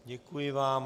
Děkuji vám.